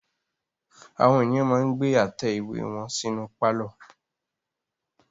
Àwọn ènìyàn máa ń gbé àtẹ ìwé wọn sí inú pálọ̀.